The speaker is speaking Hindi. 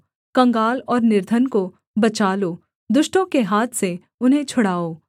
कंगाल और निर्धन को बचा लो दुष्टों के हाथ से उन्हें छुड़ाओ